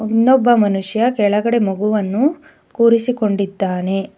ಇನ್ನೊಬ್ಬ ಮನುಷ್ಯ ಕೆಳಗಡೆ ಮಗುವನ್ನು ಕೂರಿಸಿಕೊಂಡಿದ್ದಾನೆ.